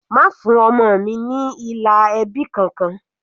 Má fún ọmọ mi ní ilà ẹbí kankan.